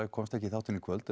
komst ekki í þáttinn í kvöld en